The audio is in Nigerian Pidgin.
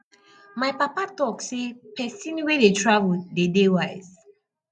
my papa talk sey pesin wey dey travel dey dey wise